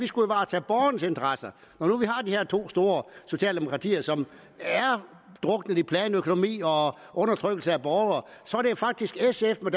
skulle varetage borgernes interesser når nu vi har de her to store socialdemokratier som er druknet i planøkonomi og undertrykkelse af borgere var det jo faktisk sf med